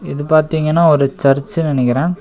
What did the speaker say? இது பாத்தீங்கனா ஒரு சர்ச்சு நெனைக்கிறே.